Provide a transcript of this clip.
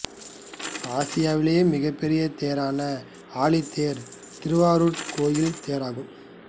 ஆசியாவிலேயே மிகப் பெரிய தேரான ஆழித்தேர் திருவாரூர் கோவில் தேராகும்